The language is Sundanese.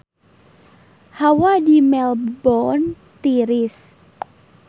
Hawa di Melbourne tiris